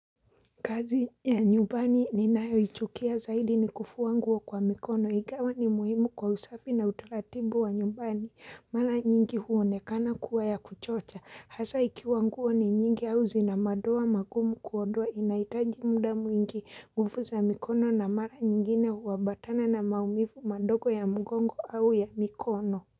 Kazi ya nyubani ninayo ichukia zaidi ni kufua nguo kwa mikono igawa ni muhimu kwa usafi na utsratibu wa nyubani, mara nyingi huonekana kuwa ya kuchocha, hasa ikiwa nguo ni nyingi au zina madoa magumu kuondoa inaitaji muda mwingi nguvu za mikono na mara nyingine huabatana na maumivu madogo ya mgongo au ya mikono.